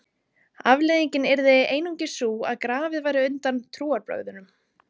afleiðingin yrði einungis sú að grafið væri undan trúarbrögðunum